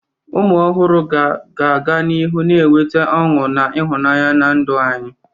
Ụmụ ọhụrụ ga-aga n'ihu na-eweta ọṅụ na ịhụnanya na ndụ anyị.